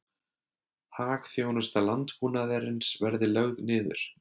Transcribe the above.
Hagþjónusta landbúnaðarins verði lögð niður